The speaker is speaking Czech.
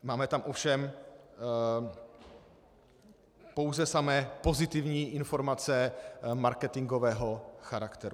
Máme tam ovšem pouze samé pozitivní informace marketingového charakteru.